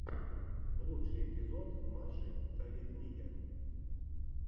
лучший эпизод маши та ведмидя